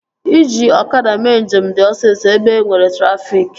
Iji ọkada mee njem dị osisọ ebe enwere trafịk